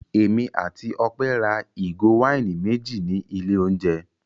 Èmi àti Ọpẹ́ ra ìgò wáìnì méjì ní ilé-oúnjẹ.